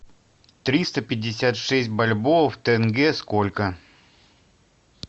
триста пятьдесят шесть бальбоа в тенге сколько